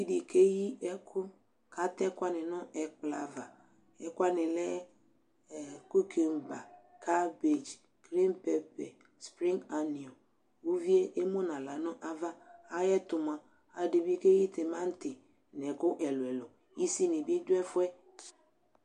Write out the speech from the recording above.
Uvi dɩ keyi ɛkʋ kʋ atɛ ɛkʋ wanɩ nʋ ɛkplɔ ava Ɛkʋ wanɩ lɛ kukɛmba, karbedz, grin pɛpɛ, prin aniɔ Uvi yɛ emu nʋ aɣla nʋ ava, ayɛtʋ mʋa, alʋɛdɩ bɩ keyi tɩmantɩ nʋ ɛkʋ ɛlʋ-ɛlʋ, isinɩ bɩ dʋ ɛfʋ yɛ